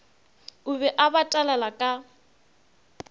o be a batalala ka